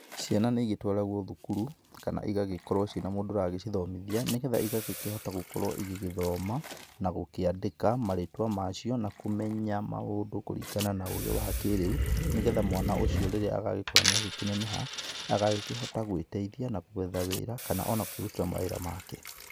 ciana nĩ ĩgĩtwaragwo cukuru kana cigagĩkorwo ciana mũndũ ũracĩthomithia nĩgetha cigagĩkorwo ciĩna mũndũ ũracithomithia nĩgetha ĩgakihota gũkorwo ĩgĩthoma na gũkĩandika marĩtwa macio na kũmenya maũndũ kũringana na ũgĩ wa kiriũ nĩgetha mwana ũcio rĩrĩa agagĩkorwo nĩakĩneneha nĩakahota gũĩteĩthia na gũetha wĩra kana ona kũĩrũtira wĩra wake